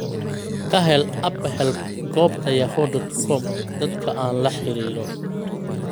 ka hel apahelp goobta yahoo dot com dadka aan la xiriiro